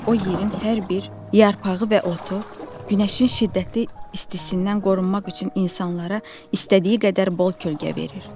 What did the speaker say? O yerin hər bir yarpağı və otu günəşin şiddətli istisindən qorunmaq üçün insanlara istədiyi qədər bol kölgə verir.